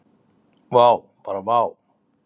Vá, bara vá.